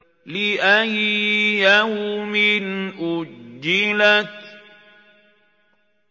لِأَيِّ يَوْمٍ أُجِّلَتْ